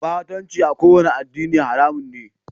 Batanci a kowane addini haramun ne.